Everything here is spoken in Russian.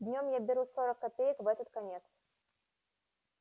днём я беру сорок копеек в этот конец